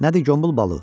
Nədir qombul balı?